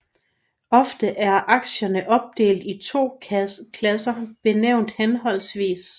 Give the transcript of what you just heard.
Ofte er aktierne opdelt i to klasser benævnt hhv